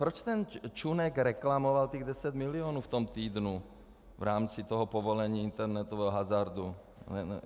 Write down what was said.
Proč ten Čunek reklamoval těch 10 mil. v tom týdnu v rámci toho povolení internetového hazardu?